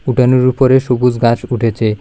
উঠানের উপরে সবুজ গাস উঠেছে।